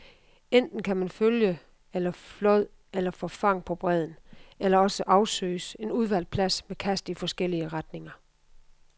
Enten kan man følge efter flåd eller forfang på bredden, eller også afsøges en udvalgt plads med kast i forskellige retninger.